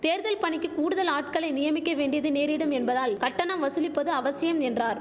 தேர்தல் பணிக்கு கூடுதல் ஆட்களை நியமிக்க வேண்டியது நேரிடும் என்பதால் கட்டணம் வசூலிப்பது அவசியம் என்றார்